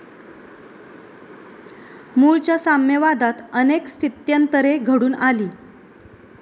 मुळच्या साम्यवादात अनेक स्थित्यंतरे घडून आली.